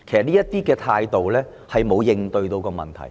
其實這種態度沒有正視問題。